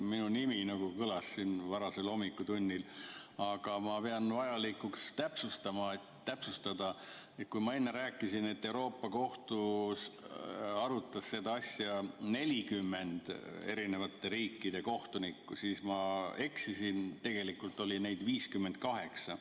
Minu nimi kõlas siin varasel hommikutunnil ja ma pean vajalikuks täpsustada, et kui ma enne rääkisin, et Euroopa Liidu Kohtus arutas seda asja 40 eri riikide kohtunikku, siis ma eksisin: tegelikult oli neid 58.